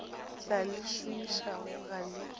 tla le šomišago ga le